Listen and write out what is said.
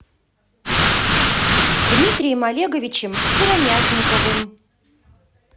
дмитрием олеговичем сыромятниковым